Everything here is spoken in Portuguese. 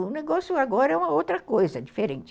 O negócio agora é uma outra coisa, diferente.